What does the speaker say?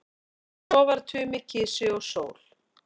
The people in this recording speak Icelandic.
Svo var Tumi kisi og sól.